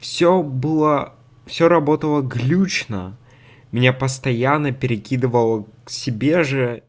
всё было всё работало глитч на меня постоянно перекидывало к себе